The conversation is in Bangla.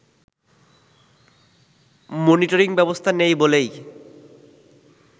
মনিটরিং ব্যবস্থা নেই বলেই